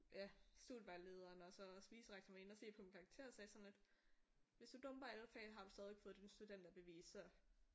Ja studievejlederen og så også vicerektoren var inde og se på mine karakterer og sagde sådan at hvis du dumper alle fagene har du stadig fået dit studenterbevis så